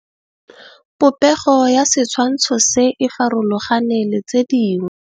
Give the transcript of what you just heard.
Popêgo ya setshwantshô se, e farologane le tse dingwe.